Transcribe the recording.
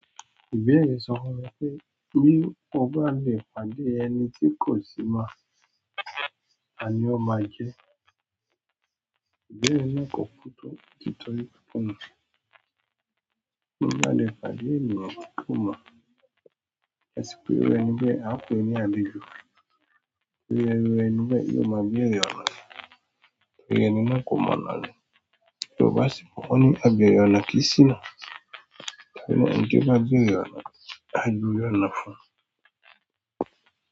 Ìbéèrè sọ fún mi pé, bí mo bá le pàdé ẹni tí kò sì mọ̀, taní ó máa jẹ́. Ìbéèrè náà kò kú tó títọ́ ní ìkùnnu. Ti mo balẹ̀ pàdé ènìyàn timo mo asi pe iru ẹni bí ẹ, a pé ni àlejò. Ìru ẹni ẹni bí ẹ, yi o ma bẹ̀rẹ̀ ọ̀nà. Ìru ẹni na kó mọ̀nà ni. Yorùbá si bo wò ó ní a bẹ̀rẹ̀ ọ̀nà kí si náà. Ìru e ní toba a bẹ̀rẹ̀ ọ̀nà, a jùwe ọ̀nà fún.